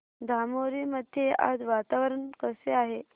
धामोरी मध्ये आज वातावरण कसे आहे